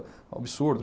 Absurdo.